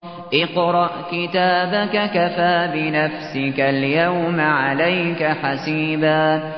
اقْرَأْ كِتَابَكَ كَفَىٰ بِنَفْسِكَ الْيَوْمَ عَلَيْكَ حَسِيبًا